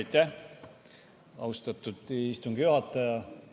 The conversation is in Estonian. Aitäh, austatud istungi juhataja!